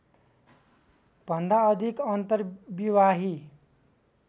भन्दा अधिक अर्न्तविवाही